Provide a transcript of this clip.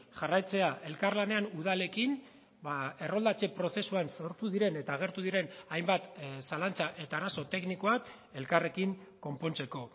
jarraitzea elkarlanean udalekin erroldatze prozesuan sortu diren eta agertu diren hainbat zalantza eta arazo teknikoak elkarrekin konpontzeko